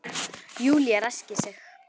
Júlía ræskir sig.